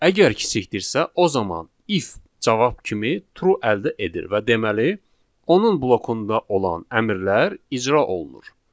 Əgər kiçikdirsə, o zaman if cavab kimi true əldə edir və deməli, onun blokunda olan əmrlər icra olunur.